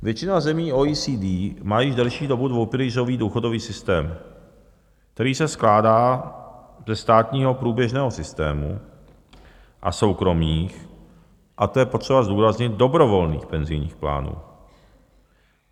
Většina zemí OECD má již delší dobu dvoupilířový důchodový systém, který se skládá ze státního průběžného systému a soukromých, a to je potřeba zdůraznit, dobrovolných penzijních plánů.